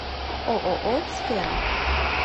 ооо сфера